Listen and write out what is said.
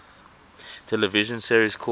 television series called